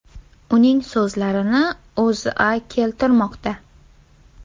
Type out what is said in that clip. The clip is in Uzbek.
Uning so‘zlarini O‘zA keltirmoqda .